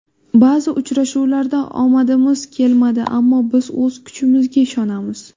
Ba’zi uchrashuvlarda omadimiz kelmadi, ammo biz o‘z kuchimizga ishonamiz.